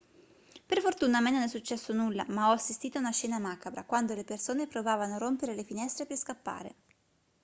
per fortuna a me non è successo nulla ma ho assistito a una scena macabra quando le persone provavano a rompere le finestre per scappare